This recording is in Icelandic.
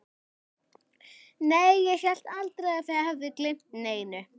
Nei, ég hélt aldrei að þið hefðuð gleymt neinu.